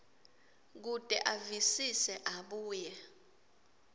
kute avisise abuye